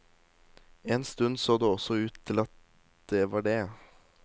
En stund så det også ut til at det var det.